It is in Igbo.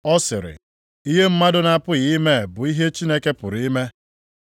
Ọ sịrị, “Ihe mmadụ na-apụghị ime, bụ ihe Chineke pụrụ ime.”